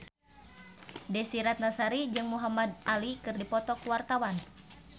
Desy Ratnasari jeung Muhamad Ali keur dipoto ku wartawan